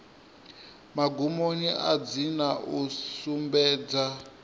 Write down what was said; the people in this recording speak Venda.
magumoni a dzina u sumbedza